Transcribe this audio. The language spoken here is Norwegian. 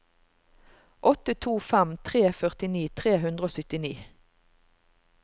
åtte to fem tre førtini tre hundre og syttini